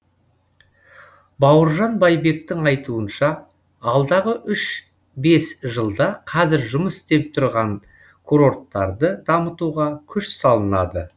бауыржан байбектің айтуынша алдағы үш бес жылда қазір жұмыс істеп тұрған курорттарды дамытуға күш салынады